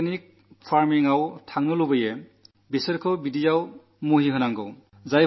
organic ഫാമിംഗിലേക്കു തിരിയാനാഗ്രഹിക്കുന്ന കർഷകർക്ക് അത് ലഭ്യമാക്കണം